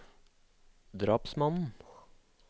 drapsmannen